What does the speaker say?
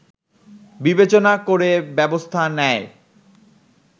বিবেচনা করে ব্যবস্থা নেয়